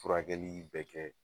Furakɛli bɛ kɛ